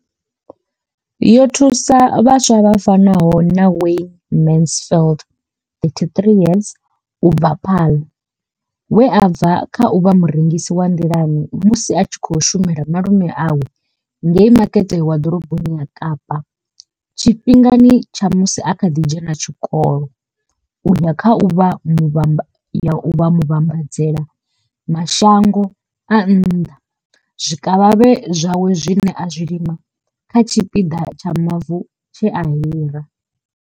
Yo thusa vhaswa vha fanaho na Wayne Mansfield, 33, u bva Paarl we a bva kha u vha murengisi wa nḓilani musi a tshi khou shumela malume awe ngei makete wa ḓoroboni ya kapa tshifhingani tsha musi a kha ḓi dzhena tshikolo u ya kha u vha muvhambadzela mashango a nnḓa zwikavhavhe zwawe zwine a zwi lima kha tshipiḓa tsha mavu tshe a hira.